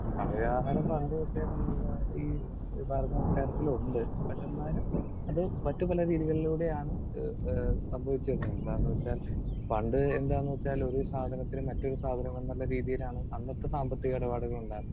Speaker 2 പണ വ്യവഹാരം പണ്ടുതൊട്ടേ നമ്മളുടെ ഈ ഭാരത സംസ്കാരത്തിലുണ്ട്. പക്ഷേ എന്നാലും അത് മറ്റു പല രീതികളിലൂടെയാണ് ഏഹ് സംഭവിച്ചിരുന്നത് എന്താന്നുവെച്ചാൽ പണ്ട് എന്താന്നുവെച്ചാൽ ഒരു സാധനത്തിന് മറ്റൊരു സാധനം എന്നുള്ള രീതിയിലാണ് അന്നത്തെ സാമ്പത്തിക ഇടപാടുകൾ ഉണ്ടാ